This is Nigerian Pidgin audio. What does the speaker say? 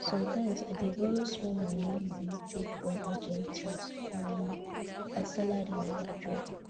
sometimes i dey borrow small money money take run urgent things um as salary never drop